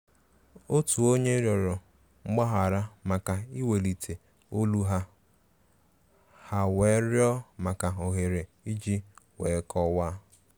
Otu onye rịọrọ mgbaghara maka iwelite olu ha ha wee rịọ maka òhèrè iji wee kọwáá.